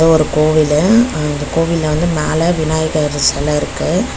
ஒரு கோவிலு அந்த கோவில்ல வந்து மேல விநாயகர் செல இருக்கு.